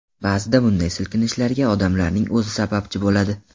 Ba’zida bunday silkinishlarga odamlarning o‘zi sababchi bo‘ladi.